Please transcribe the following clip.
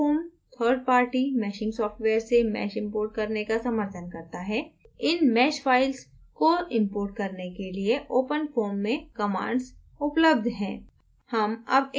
लेकिन openfoam third party meshing software से mesh importing करने का समर्थन करता है इन mesh फाइल्स को importing करने के लिए openfoam में कमांड्स उपलब्ध हैं